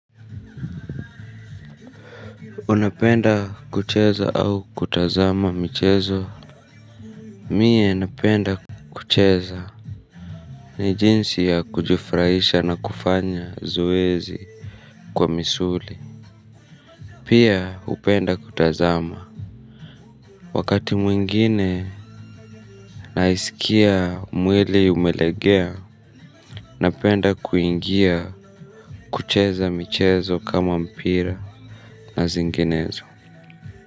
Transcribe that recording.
Unapenda kucheza au kutazama michezo? Mie napenda kucheza. Nijinsi ya kujufraisha na kufanya zoezi kwa misuli. Pia upenda kutazama. Wakati mwingine naisikia mwili umelegea, napenda kuingia kucheza michezo kama mpira na zinginezo.